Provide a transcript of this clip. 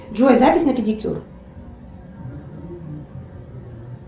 джой запись на педикюр